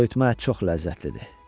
Soyutma ət çox ləzzətlidir.